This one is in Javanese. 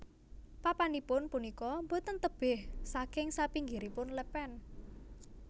Papanipun punika boten tebih saking sapinggiripun lèpèn